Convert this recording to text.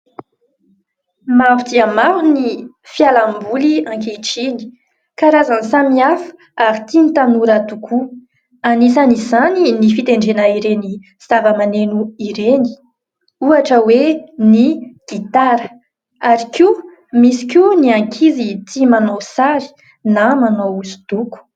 Maro dia maro ny fialamboly ankehitriny. Karazany samy hafa ary tian'ny tanora tokoa, anisan' izany ny fitendrena ireny zava-maneno ireny ohatra hoe ny gitara ary koa misy koa ny ankizy tia manao sary na manao hosodoko.